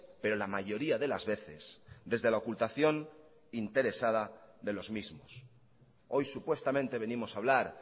pero la mayoría de las veces desde la ocultación interesada de los mismos hoy supuestamente venimos a hablar